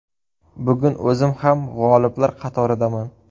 Bugun o‘zim ham g‘oliblar qatoridaman.